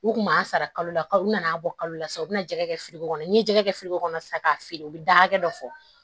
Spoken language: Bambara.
U kun m'an sara kalo la u nana an bɔ kalo la sa u bɛna jɛgɛ kɛ fili ko kɔnɔ n'i ye jɛgɛ kɛ feereko kɔnɔ sisan k'a feere u bɛ da hakɛ dɔ fɔ